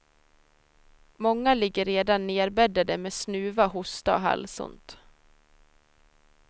Många ligger redan nedbäddade med snuva, hosta och halsont.